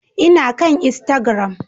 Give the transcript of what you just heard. Ina kan Instagram